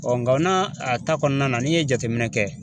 nka na a ta kɔnɔna na n'i ye jateminɛ kɛ